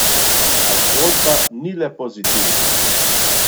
A zgodba ni le pozitivna.